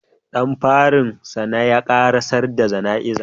Ɗan farin sana ya karasar da jana'iza.